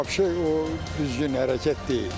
Vabşe o düzgün hərəkət deyil.